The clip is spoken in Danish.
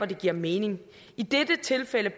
det giver mening i dette tilfælde